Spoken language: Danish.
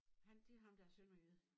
Han det ham der er sønderjyde